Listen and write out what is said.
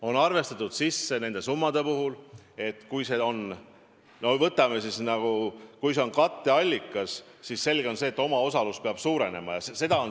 On arvestatud, et kui need summad on katteallikas, siis selge on, et omaosalus peab suurenema.